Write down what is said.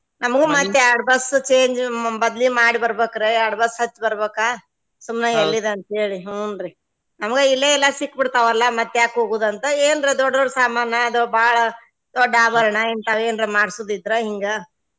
ನಮಗು ಮತ್ತ್ ಎರ್ಡ್ bus change ಮ~ ಬದ್ಲಿ ಮಾಡಿ ಬರಬೇಕ್ರಿ ಎರ್ಡ್ bus ಹತ್ತಿ ಬರಬೇಕ ಸುಮ್ನ ಎಲ್ಲಿದ ಅಂತ ಹೇಳಿ ಹೂನ್ರಿ ನಮಗ ಇಲ್ಲೆ ಎಲ್ಲಾ ಸಿಕ್ಕ ಬಿಡ್ತಾವ ಅಲಾ ಮತ್ತ ಯಾಕ ಹೋಗುದ ಅಂತ ಏನ್ರ ದೊಡ್ಡ ದೊಡ್ಡ ಸಾಮಾನ ಅದು ಬಾಳ ದೊಡ್ಡ ಆಭರಣ ಇಂತಾವ ಮಾಡ್ಸುದ ಇದ್ರ ಹಿಂಗ.